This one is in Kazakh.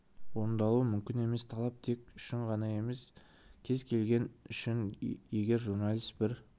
орындалуы мүмкін емес талап тек үшін ғана емес кез келген үшін егер журналист бір